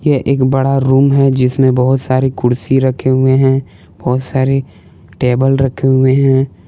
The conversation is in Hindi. ये एक बड़ा रूम है जिसमें बहुत सारे कुर्सी रखे हुए हैं बहुत सारे टेबल रखे हुए हैं।